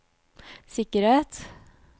sikkerhet